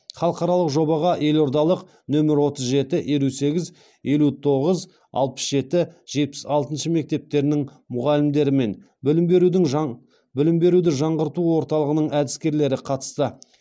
халықаралық жобаға елордалық нөмір отыз жеті елу сегіз елу тоғыз алпыс жеті жетпіс алтыншы мектептерінің мұғалімдері мен білім беруді жаңғырту орталығының әдіскерлері қатысты